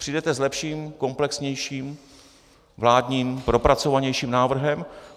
Přijdete s lepším, komplexnějším, vládním, propracovanějším návrhem?